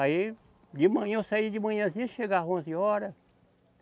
Aí, de manhã, eu saía de manhãzinha, chegava onze horas.